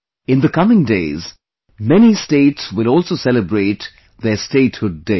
In the coming days, many states will also celebrate their Statehood day